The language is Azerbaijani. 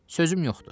Sözüm yoxdur.